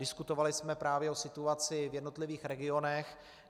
Diskutovali jsme právě o situaci v jednotlivých regionech.